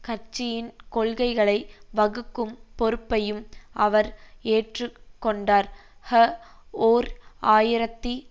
கட்சியின் கொள்கைகளை வகுக்கும் பொறுப்பையும் அவர் ஏற்று கொண்டார் ஹ ஓர் ஆயிரத்தி